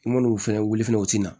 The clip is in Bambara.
I man'u fɛnɛ wuli fɛnɛ u tɛna